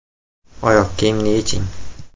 Oyoq kiyimni yeching.